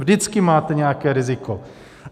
Vždycky máte nějaké riziko.